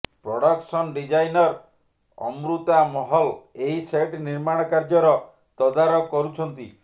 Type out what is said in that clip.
production designer Amrita Mahal ଏହି set ନିର୍ମାଣ କାର୍ଯ୍ୟର ତଦାରଖ କରୁଛନ୍ତି